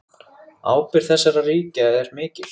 Ábyrgð þessara ríkja er mikil.